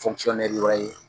Fɔnkisiyɔnɛri wɛrɛ ye.